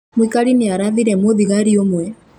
Mũikari nĩ arathire mũthigari ũmwe